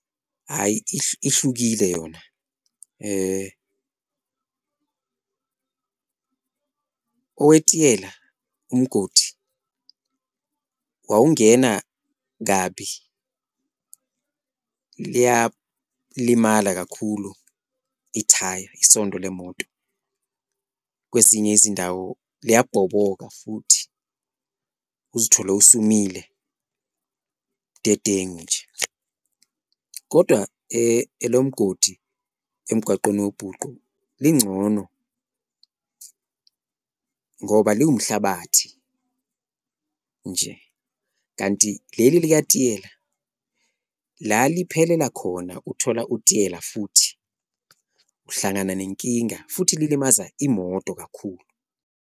Hhayi ihlukile yona owetiyela umgodi wawungena kabi liyalimala kakhulu ithaya isondo lemoto kwezinye izindawo liyabhoboka futhi uzithole usumile budedengu nje. Kodwa elomgodi emgwaqeni owubhuqu lingcono ngoba liwumhlabathi nje kanti leli likatiyela la liphelela khona uthola utiyela futhi, uhlangana nenkinga futhi lilimaza imoto kakhulu.